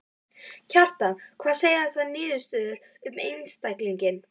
Kjartan: Hvað segja þessar niðurstöður um einstakling?